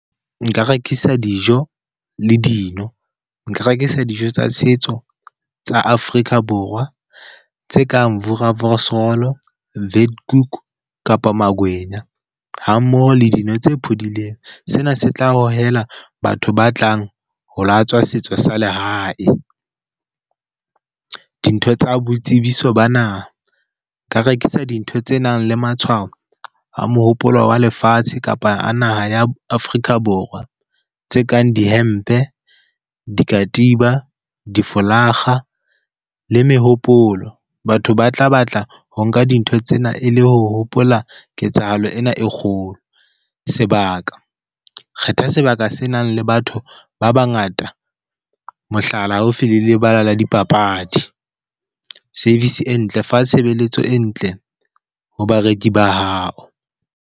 Nka rekisa dijo le dino. Nka rekisa dijo tsa setso tsa Afrika Borwa, tse kang voerewors roll, vetkoek kapa makwenya, ha mmoho le dino tse phodileng, sena se tla hohela batho ba tlang ho latswa setso sa lehae. Dintho tsa boitsebiso ba naha, nka rekisa dintho tse nang le matshwao a mohopolo wa lefatshe kapa a naha ya Afrika Borwa, tse kang dihempe, dikatiba, difolakga le mehopolo, batho ba tla batla ho nka dintho tsena e le ho hopola ketsahalo ena e kgolo. Sebaka, kgetha sebaka se nang le batho ba bangata mohlala, haufi le lebala la dipapadi. Service e ntle, fa tshebeletso e ntle ho bareki ba hao.